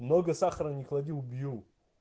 много сахара не клади убью